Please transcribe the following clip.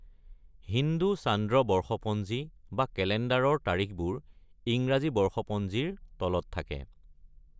হিন্দু চান্দ্ৰ বৰ্ষপঞ্জী বা কেলেণ্ডাৰৰ তাৰিখবোৰ ইংৰাজী বৰ্ষপঞ্জীৰ তলত থাকে।